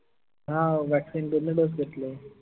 हाओ vaccine दोन्ही dose घेतले.